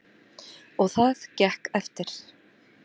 Og það gekk eftir.